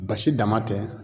Basi dama tɛ